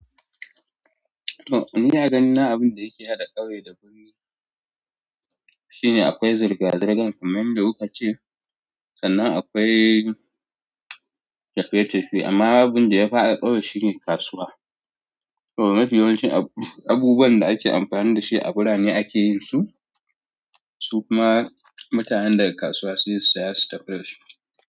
Ni agani na abin da yake haɗa ƙauye da birni shine akwai zirga-zirgan kamar yanda kuka ce sannan akwai tafiye-tafiye. Amma abin da ya fara ƙauye shine kasuwa. Mafi yawancin abubuwan da ake amfani da shi a bira ne ake yin su, su kuma mutanen daga kasuwa suyi saya su tafi da su.